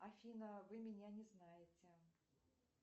афина вы меня не знаете